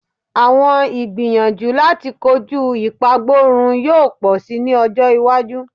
Awọn igbiyanju lati koju ipagborun yoo pọ si ni ọjọ iwaju